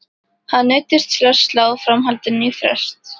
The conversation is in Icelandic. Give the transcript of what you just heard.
Hann neyddist til að slá framhaldinu á frest.